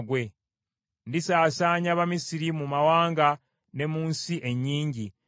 Ndisaasaanya Abamisiri mu mawanga ne mu nsi ennyingi.